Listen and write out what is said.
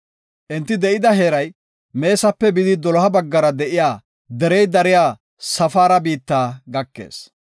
Enti de7ida heeray Meesape bidi doloha baggara de7iya derey dariya Safaara biitta gakees.